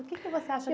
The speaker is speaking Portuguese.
O que que você acha